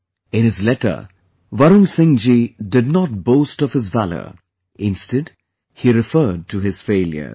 In his letter, Varun Singh ji did not boast of his valour; instead he referred to his failures